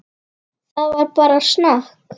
Það er bara snakk.